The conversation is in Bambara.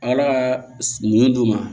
Ala ka mun d'u ma